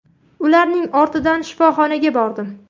Ularning ortidan shifoxonaga bordim.